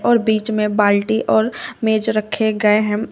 और बीच में बाल्टी और मेज रखे गए है।